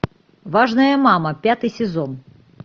важная мама пятый сезон